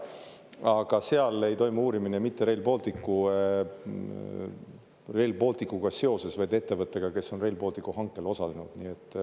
Aga seal ei toimu uurimine mitte seoses Rail Balticuga, vaid ettevõttega, kes on Rail Balticu hankel osalenud.